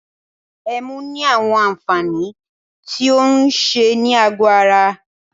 Ẹmu ní àwọn àǹfààní tí o ń ṣe ní àgọ ara.